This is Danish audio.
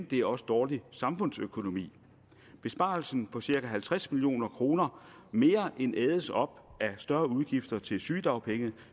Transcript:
det er også dårlig samfundsøkonomi besparelsen på cirka halvtreds million kroner mere end ædes op af større udgifter til sygedagpenge